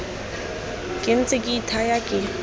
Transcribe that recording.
ke ntse ke ithaya ke